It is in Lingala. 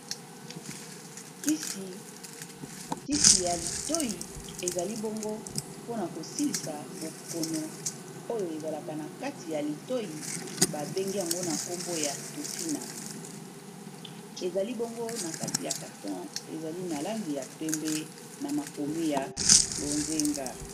Kisi ya litoyi ezali bongo mpona kosilisa bokono oyo ezalaka na kati ya litoi babengi yango na nkombo ya tofina ezali bongo na kati ya carton ezali na langi ya pembe na makomi ya bonzenga.